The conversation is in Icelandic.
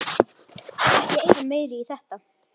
Ekki eyða meiru í þetta